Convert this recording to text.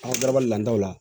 An ka garabali ladaw la